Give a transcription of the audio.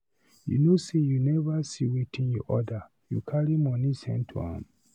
You know say you never see wetin you order, you carry money send to am.